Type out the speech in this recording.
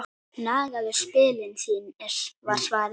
Nagaðu spilin þín var svarið.